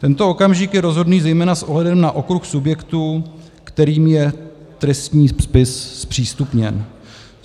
Tento okamžik je rozhodný zejména s ohledem na okruh subjektů, kterým je trestní spis zpřístupněn.